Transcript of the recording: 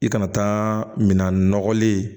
I kana taa minan nɔgɔlen